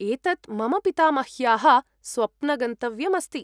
एतत् मम पितामह्याः स्वप्नगन्तव्यम् अस्ति।